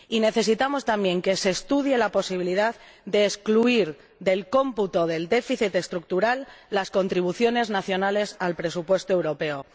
Y necesitamos también que se estudie la posibilidad de excluir del cómputo del déficit estructural las contribuciones nacionales al presupuesto europeo.